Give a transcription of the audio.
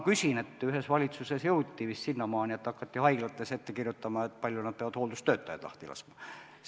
Ühes valitsuses jõuti vist sinnamaani, et hakati haiglatele ette kirjutama, kui palju nad peavad hooldustöötajaid lahti laskma.